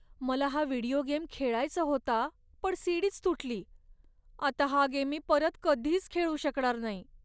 मला हा video game खेळायचा होता पण सी.डी.च तुटली. आता हा गेम मी परत कधीच खेळू शकणार नाही.